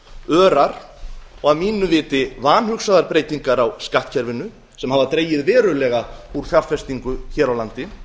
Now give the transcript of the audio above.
örar og að mínu viti vanhugsaðar breytingar á skattkerfinu sem hafa dregið verulega úr fjárfestingu hér á landi